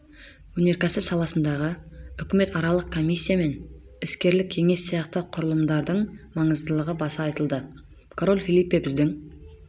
өнеркәсіп саласындағы үкіметаралық комиссия мен іскерлік кеңес сияқты құрылымдардың маңыздылығы баса айтылды король фелипе біздің